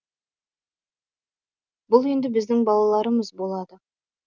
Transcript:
бұл енді біздің балаларымыз болады